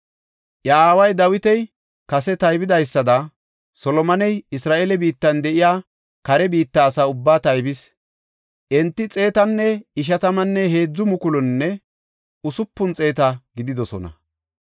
Iya aaway Dawiti kase taybidaysada, Solomoney Isra7eele biittan de7iya kare biitta asaa ubbaa taybis. Enti xeetanne ishatammanne heedzu mukulunne usupun xeeta gididosona.